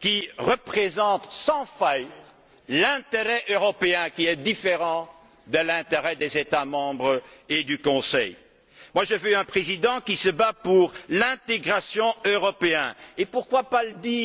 qui représente sans faillir l'intérêt européen, qui est différent de celui des États membres et du Conseil. Je veux un Président qui se batte pour l'intégration européenne et pourquoi ne pas le